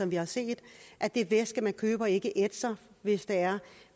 vi har set at det væske man køber ikke ætser hvis det er